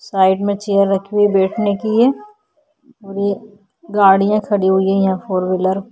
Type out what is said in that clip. Side में chair रखी हुई है बैठने के लिए और ये गाडिया खड़ी हुई है यहाँ फोर व्हीलर ।